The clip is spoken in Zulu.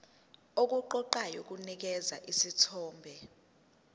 okuqoqayo kunikeza isithombe